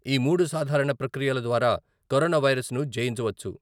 ఈ మూడు సాధారణ ప్రక్రియల ద్వారా కరోనా వైరసన్ను జయించవచ్చు.